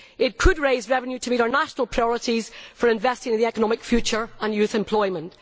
It could raise revenue to meet our national priorities for investing in our economic future and youth employment.